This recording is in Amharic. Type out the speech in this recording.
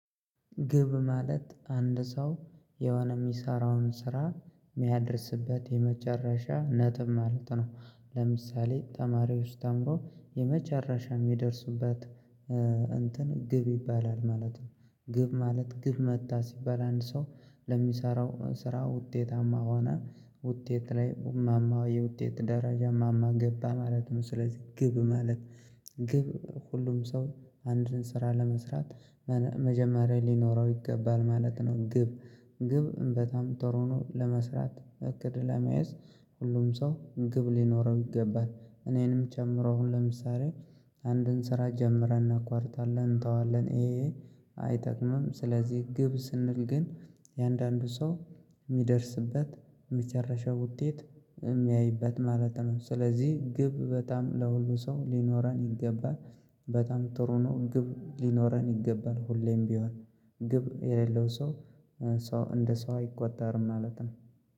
ግብ ማለት አንድ ሰው የሆነ የሚሰራውን ስራ የሚያደርስበት የመጨረሻ ነጥብ ማለት ነው። ለምሳሌ ተማሪዎች ተምረው የመጨረሻ የሚደርሱበት እንትን ግብ ይባላል ማለት ነው። ግብ ማለት ግብ መታ ሲባል አንድ ሰው ለሚሰራው ስራ ውጤታማ ሆነ ውጤት ላይ ማማው የውጤት ደረጃ ማማ ገባ ማለት ነው። ስለዚህ ግብ ማለት ግብ ሁሉም ሰው አንድን ስራ ለመስራት መጀመሪያ ሊኖረው ይገባል ማለት ነው። ግብ ግብ በጣም ጥሩ ነው። ለመስራት እቅድ ለመያዝ ሁሉም ሰው ግብ ሊኖረው ይገባል። እኔንም ጨምሮ አሁን ለምሳሌ አንድን ስራ ጀምረን እናኳርጣለን እንተዋለን። ይሄ ይሄ አይጠቅምም። ስለዚህ ግብ ስንል ግን እያንዳንዱ ሰው የሚደርስበት የመጨረሻው ውጤት የሚያይበት ማለት ነው። ስለዚህ ግብ በጣም ለሁሉ ሰው ሊኖረን ይገባል። በጣም ጥሩ ነው። ግብ ሊኖረን ይገባል ሁሌም ቢሆን ግብ የሌለው ሰው ሰው እንደ ሰው አይቆጠርም ማለት ነው።